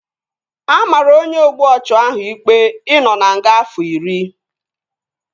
A maara onye ogbu ọchụ ahụ ikpe ị nọ na nga afọ iri